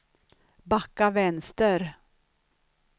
backa vänster